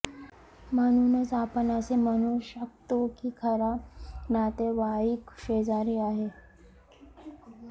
म्हणूनच आपण असे म्हणू शकतो की खरा नातेवाईक शेजारी आहे